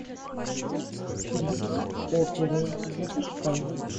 призрак оперы запускай